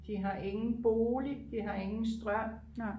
de har ingen bolig de har ingen strøm